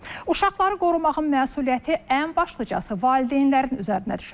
Uşaqları qorumağın məsuliyyəti ən başlıcası valideynlərin üzərinə düşür.